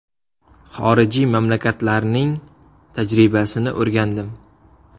Xorijiy mamlakatlarining tajribasini o‘rgandim.